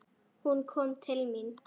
Hún kom til mín.